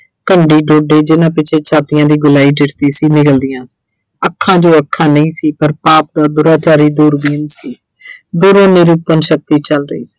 ਜਿੰਨ੍ਹਾ ਪਿੱਛੇ ਛਾਤੀਆਂ ਦੀ ਗੋਲਾਈ ਦਿਸਦੀ ਸੀ ਨਿਗਲਦੀਆਂ। ਅੱਖਾਂ ਜੋ ਅੱਖਾਂ ਨਹੀਂ ਸੀ ਪਰ ਪਾਪ ਦਾ ਦੁਰਾਚਾਰੀ ਦੂਰਬੀਨ ਸੀ। ਦੂਰੋਂ ਨਿਰੂਪਣ ਸ਼ਕਤੀ ਚੱਲ ਰਹੀ ਸੀ